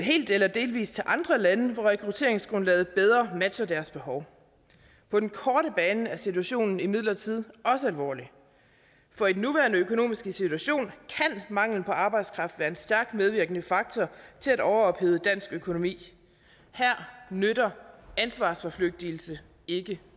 helt eller delvis til andre lande hvor rekrutteringsgrundlaget bedre matcher deres behov på den korte bane er situationen imidlertid også alvorlig for i den nuværende økonomiske situation kan mangel på arbejdskraft være en stærkt medvirkende faktor til at overophede dansk økonomi her nytter ansvarsforflygtigelse ikke